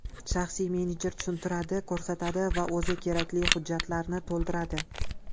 Shaxsiy menejer tushuntiradi, ko‘rsatadi va o‘zi kerakli hujjatlarni to‘ldiradi.